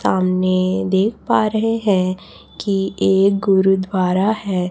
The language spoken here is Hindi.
सामने देख पा रहे हैं कि एक गुरुद्वारा है।